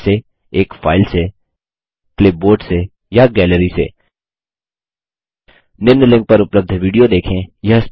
जैसे एक फाइल से क्लिपबोर्ड से या गैलरी से निम्न लिंक पर उपलब्ध विडियो देखें